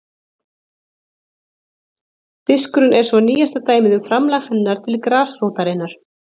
Diskurinn er svo nýjasta dæmið um framlag hennar til grasrótarinnar.